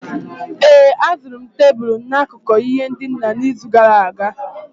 ee, azụrụ m tebụl n'akụkụ ihe ndina n'izu gara aga